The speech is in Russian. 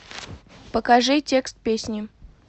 покажи текст песни